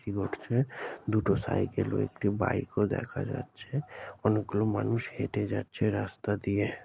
কি করছে দুটো সাইকেল ও একটি বাইক ও দেখা যাচ্ছে অনেকগুলো মানুষ হেঁটে যাচ্ছে রাস্তা দিয়ে।